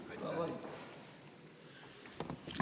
Aga palun!